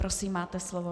Prosím, máte slovo.